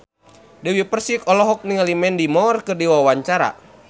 Dewi Persik olohok ningali Mandy Moore keur diwawancara